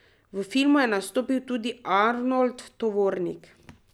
V filmu je nastopil tudi Arnold Tovornik.